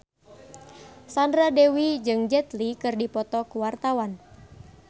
Sandra Dewi jeung Jet Li keur dipoto ku wartawan